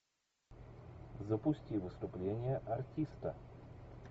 запусти выступление артиста